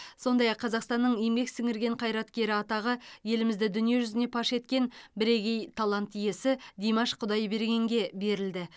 сондай ақ қазақстанның еңбек сіңірген қайраткері атағы елімізді дүние жүзіне паш еткен бірегей талант иесі димаш құдайбергенге берілді